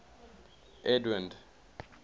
edwind